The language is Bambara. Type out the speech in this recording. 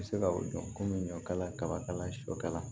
Bɛ se ka u jɔ komi ɲɔkala kabakala sɔkala